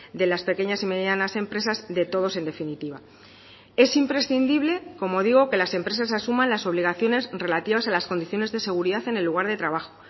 de las pequeñas y medianas empresas de todos en definitiva es imprescindible como digo que las empresas asuman las obligaciones relativas a las condiciones de seguridad en el lugar de trabajo